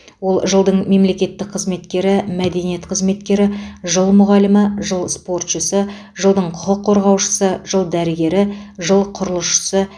ол жылдың мемлекеттік қызметкері мәдениет қызметкері жыл мұғалімі жыл спортшысы жылдың құқық қорғаушысы жыл дәрігері жыл құрылысшысы